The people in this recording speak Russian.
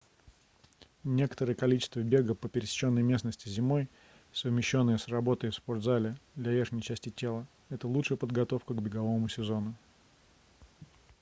некоторое количество бега по пересеченной местности зимой совмещённое с работой в спорт-зале для верхней части тела это лучшая подготовка к беговому сезону